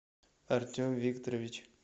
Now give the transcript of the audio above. артем викторович